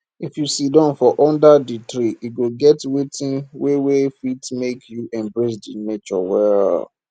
if you sidon for under di tree e go get wetin wey wey fit make you embrace nature well